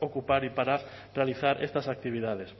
ocupar y para realizar estas actividades